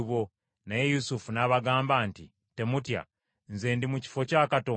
Naye Yusufu n’abagamba nti, “Temutya, nze ndi mu kifo kya Katonda?